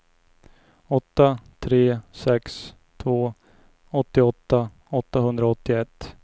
åtta tre sex två åttioåtta åttahundraåttioett